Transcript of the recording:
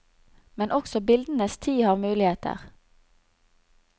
Men også bildenes tid har muligheter.